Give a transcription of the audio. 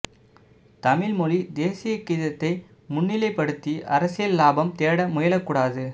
தமிழ் மொழி தேசிய கீதத்தை முன்னிலைப்படுத்தி அரசியல் இலாபம் தேட முயலக்கூடாது